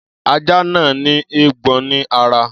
Ajá náà ní éégbọn ní ara.